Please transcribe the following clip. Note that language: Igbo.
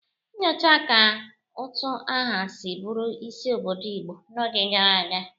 Nyochaa ka utu aha si bụrụ isi obodo Igbo n'oge gara aga.